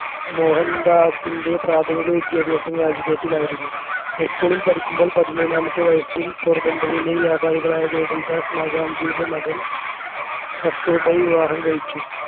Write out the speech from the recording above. മോഹൻദാസിൻെറ പ്രഥമിക വിദ്യാഭ്യാസം രാജ്കോട്ടിലായിരുന്നു high school ൽ പതിമൂന്നാമത്തെ വയസ്സിൽ പോർബന്ദറിലെ വ്യാപാരികളായ ഗോകുൽദാസ് മാകാൻജിയുടെ മകൻ കസ്തൂർബയെ വിവാഹം കഴിച്ചു